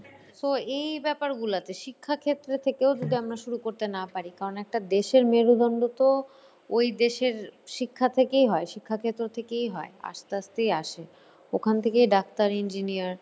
so এই ব্যাপারগুলা আছে ,শিক্ষাক্ষেত্রে থেকেও যদি আমরা শুরু করতে না পারি, কারণ একটা দেশের মেরুদন্ড তো ওই দেশের শিক্ষা থেকেই হয়, শিক্ষাক্ষেত্র থেকেই হয়। আস্তে আস্তেই আসে। ওখান থেকেই ডাক্তার engineer